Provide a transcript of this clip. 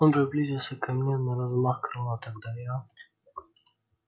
он приблизился ко мне на размах крыла тогда я